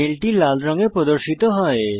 মেলটি লাল রঙে প্রদর্শিত হয়